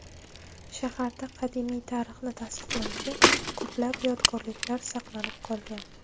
Shaharda qadimiy tarixni tasdiqlovchi ko‘plab yodgorliklar saqlanib qolgan.